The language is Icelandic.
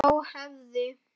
Þá hefði